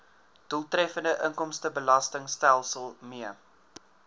doeltreffende inkomstebelastingstelsel mee